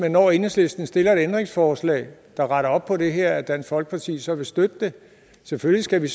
at når enhedslisten stiller et ændringsforslag der retter op på det her at dansk folkeparti så vil støtte det selvfølgelig skal vi